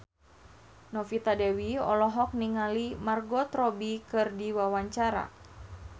Novita Dewi olohok ningali Margot Robbie keur diwawancara